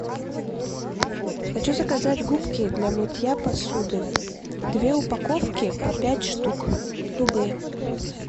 хочу заказать губки для мытья посуды две упаковки по пять штук любые